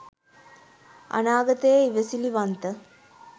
අනාගතයේ ඉවසිලිවන්ත